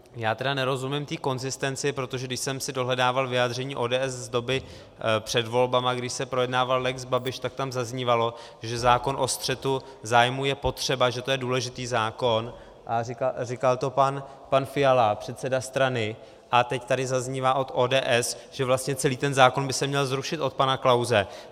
Já tedy nerozumím té konzistenci, protože když jsem si dohledával vyjádření ODS z doby před volbami, když se projednával lex Babiš, tak tam zaznívalo, že zákon o střetu zájmů je potřeba, že to je důležitý zákon, a říkal to pan Fiala, předseda strany, a teď tady zaznívá od ODS, že vlastně celý ten zákon by se měl zrušit, od pana Klause.